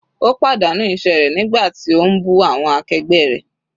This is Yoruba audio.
Ó pàdánù iṣẹ́ rẹ̀ nígbà tí ó ń bú awọn akẹgbẹ́ rẹ̀.